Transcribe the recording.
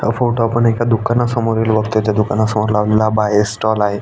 ह फोटो आपण एका दुकाना समोरील बघतोय त्या दुकानासमोर लावलेला हा बाहेर स्टॉल आहे.